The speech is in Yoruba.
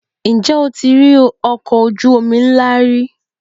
Ǹjẹ́ o ti rí ọkọ̀ ojú omi ńlá rí?